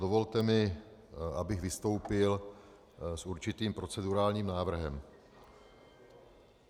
Dovolte mi, abych vystoupil s určitým procedurálním návrhem.